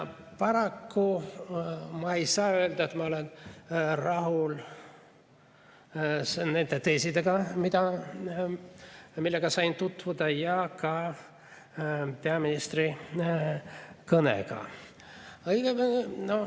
Paraku ma ei saa öelda, et ma olen rahul nende teesidega, millega sain tutvuda, ja ka peaministri kõnega.